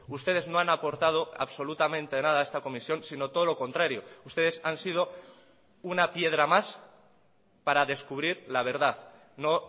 ustedes no han aportado absolutamente nada a esta comisión sino todo lo contrario ustedes han sido una piedra más para descubrir la verdad no